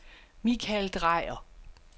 Mikael Dreyer